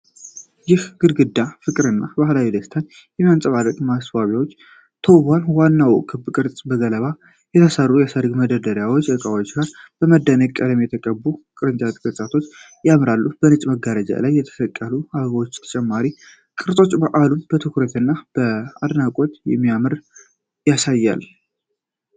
ይህ ግድግዳ ፍቅርን እና ባህላዊ ደስታን በሚያንፀባርቁ ማስዋቢያዎች ተውቧል። ዋናው ክብ ቅርጽ በገለባ ከተሠሩ የሠርግ መደነቂያ ዕቃዎች ጋር በደማቅ ቀለም የተቀቡ የቅርጫት ቅርጾችን ያጣምራል። በነጭ መጋረጃ ላይ የተሰቀሉት አበቦችና ተጨማሪ ቅርጾች በዓሉን በትኩረት እና በአድናቆት እንደሚያደምቁት ያሳያሉ።